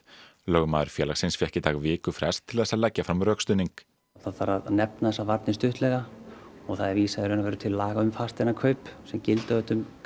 lögmaður félagsins fékk í dag vikufrest til þess leggja fram rökstuðning það þarf að nefna þessar varnir stuttlega og þar er vísað til laga um fasteignakaup sem gilda auðvitað um